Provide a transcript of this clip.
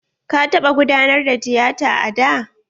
Ka taɓa gudanar da tiyata a da?